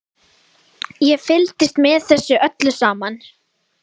Ég fylgdist með þessu öllu saman.